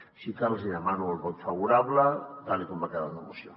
així que els hi demano el vot favorable tal com ha quedat la moció